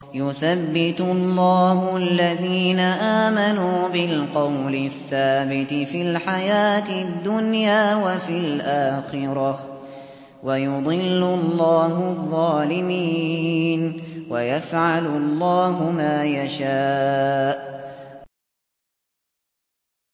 يُثَبِّتُ اللَّهُ الَّذِينَ آمَنُوا بِالْقَوْلِ الثَّابِتِ فِي الْحَيَاةِ الدُّنْيَا وَفِي الْآخِرَةِ ۖ وَيُضِلُّ اللَّهُ الظَّالِمِينَ ۚ وَيَفْعَلُ اللَّهُ مَا يَشَاءُ